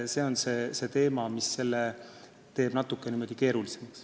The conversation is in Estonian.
See teeb selle teema natukene keerulisemaks.